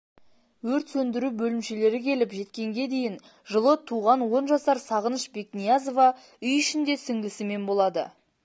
өрт сөндіру бөлімшелері келіп жеткенге дейін жылы туған он жасар сағыныш бекниязова үй ішінде сіңілісімен болады